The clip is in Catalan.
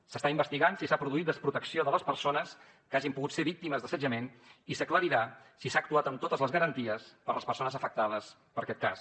s’està investigant si s’ha produït desprotecció de les persones que hagin pogut ser víctimes d’assetjament i s’aclarirà si s’ha actuat amb totes les garanties per a les persones afectades per aquest cas